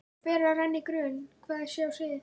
Og fer að renna í grun hvað sé á seyði.